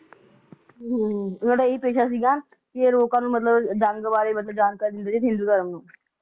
ਇਹਨਾਂ ਦਾ ਇਹ ਹੀ ਪੇਸ਼ਾ ਸੀਗਾ ਕਿ ਇਹ ਲੋਕਾਂ ਨੂੰ ਮਤਲਬ ਜੰਗ ਬਾਰੇ ਮਤਲਬ ਜਾਣਕਾਰੀ ਦਿੰਦੇ ਸੀ ਹਿੰਦੂ ਧਰਮ ਨੂੰ